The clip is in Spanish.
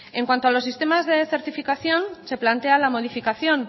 en cuanto a los sistemas de certificación se plantea la modificación